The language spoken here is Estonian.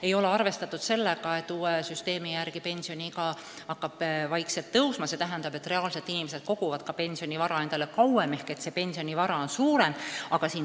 Ei ole arvestatud sellega, et uue süsteemi järgi pensioniiga hakkab vaikselt tõusma, mis tähendab ka seda, et inimesed koguvad endale pensionivara kauem ehk nende pensionivara on suurem.